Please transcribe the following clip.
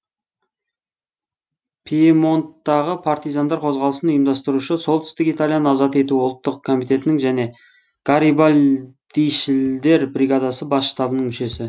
пьемонттағы партизандар қозғалысын ұйымдастырушы солтүстік италияны азат ету ұлттық комитетінің және гарибальдишілдер бригадасы бас штабының мүшесі